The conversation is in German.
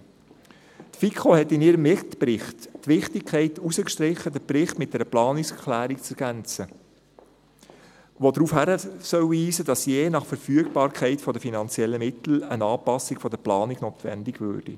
Die FiKo strich in ihrem Mitbericht die Wichtigkeit heraus, den Bericht mit einer Planungserklärung zu ergänzen, die darauf hinweisen soll, dass je nach Verfügbarkeit der finanziellen Mittel eine Anpassung der Planung notwendig würde.